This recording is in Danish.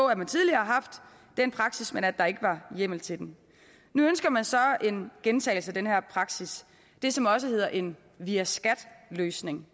at man tidligere har haft den praksis men at der ikke var hjemmel til den nu ønsker man så en gentagelse af den her praksis det som også hedder en via skat løsning